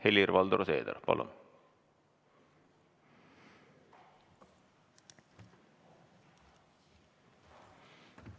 Helir-Valdor Seeder, palun!